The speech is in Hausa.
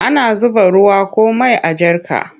Ana zuba ruwa ko mai a jarka.